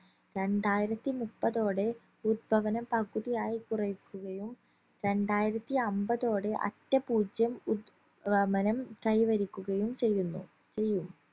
രണ്ടായിരത്തിമുപ്പത്തോടെ ഉത്ഗമനം പകുതിയായി കുറയ്ക്കുകയും രണ്ടായിരത്തിഅമ്പതോടേ അറ്റ പൂജ്യം ഉത്ഗമനം കൈവരിക്കുകയും ചെയ്യുന്നു ചെയ്യും